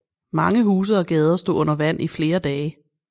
Mange huse og gader stod under vand i flere dage